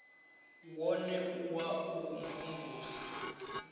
wone u wa u mvumvusa